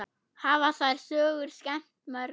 Hafa þær sögur skemmt mörgum.